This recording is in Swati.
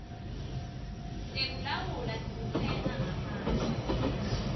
tekulawula kutsenga ngaphandle